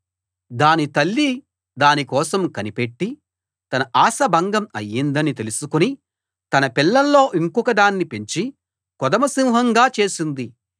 దాని తల్లి దాని కోసం కనిపెట్టి తన ఆశ భంగం అయిందని తెలుసుకుని తన పిల్లల్లో ఇంకొకదాన్ని పెంచి కొదమసింహంగా చేసింది